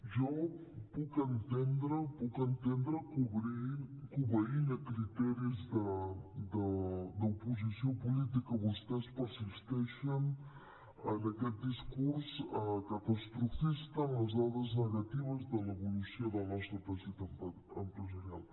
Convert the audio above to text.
jo puc entendre puc entendre que obeint a criteris d’oposició política vostès persisteixen en aquest discurs catastrofista en les dades negatives de l’evolució del nostre teixit empresarial